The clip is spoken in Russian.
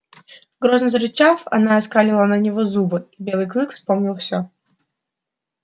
грозно зарычав она оскалила на него зубы и белый клык вспомнил все